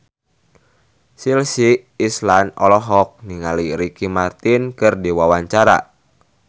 Chelsea Islan olohok ningali Ricky Martin keur diwawancara